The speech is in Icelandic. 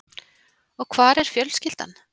Og hvar er fjölskyldan?